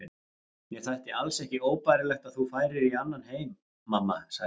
Mér þætti alls ekki óbærilegt að þú færir í annan heim mamma, sagði ég.